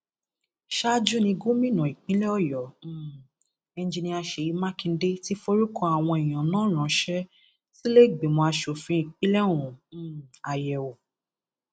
ṣáájú ni gómìnà ìpínlẹ ọyọ um engineer ṣèyí mákindè ti forúkọ àwọn èèyàn náà ránṣẹ sílẹẹgbìmọ asòfin ìpínlẹ ọ̀hún um ayẹwò